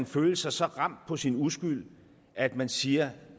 føle sig så ramt på sin uskyld at man siger